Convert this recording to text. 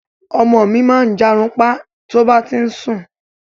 Ọmọ mi máa ń jàrunpa to bá ti ń sún